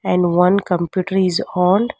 And one computer is on.